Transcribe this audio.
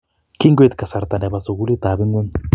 Kingoit kasarta nebo sukulitap ngweny